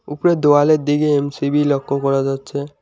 উপরে দেওয়ালের দিকে এম_সি_বি লক্ষ্য করা যাচ্ছে।